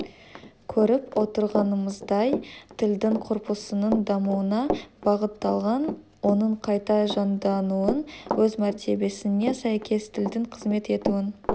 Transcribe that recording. көріп отырғанымыздай тілдің корпусының дамуына бағытталған оның қайта жаңдануын өз мәртебесіне сәйкес тілдің қызмет етуін